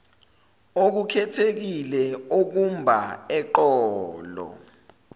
okukhethekile okumba eqolo